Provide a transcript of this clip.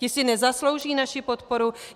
Ti si nezaslouží naši podporu?